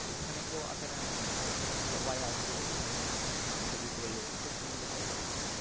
এখানে কেউ আসে না এমন না এখানে সবাই আসে এখানে ছবি তোলে খুব সুন্দর জায়গা এটা